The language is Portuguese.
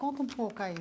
Conta um pouco aí.